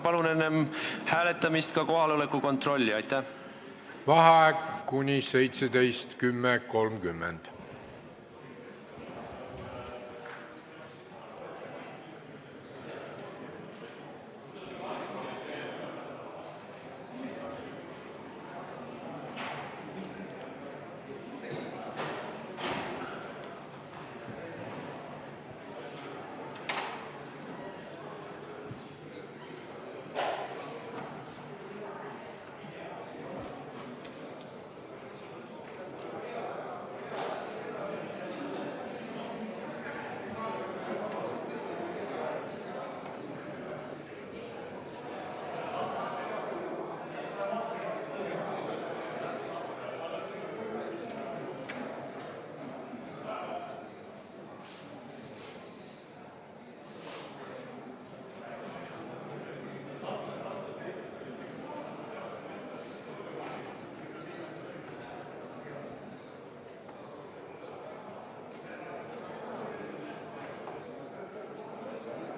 Palun enne hääletamist teha ka kohaloleku kontroll!